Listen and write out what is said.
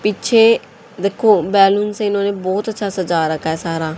पीछे देखो बैलून से इन्होंने बहुत अच्छा सजा रखा है सारा--